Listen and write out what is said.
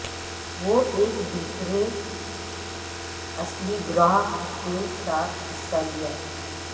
وہ ایک دوسرے اصلی گروہ کے ساتھ حصہ لیا